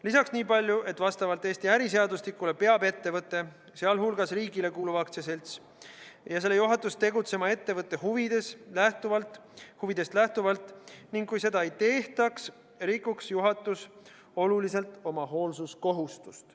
Lisaks nii palju, et vastavalt Eesti äriseadustikule peab ettevõte, sh riigile kuuluv aktsiaselts, ja selle juhatus tegutsema ettevõtte huvidest lähtuvalt ning kui seda ei tehtaks, rikuks juhatus oluliselt oma hoolsuskohustust.